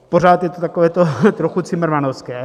Pořád je to takové to trochu cimrmanovské.